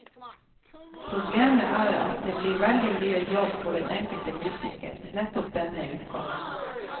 Problemet er at det blir veldig mye jobb for den enkelte musiker nettopp denne uka.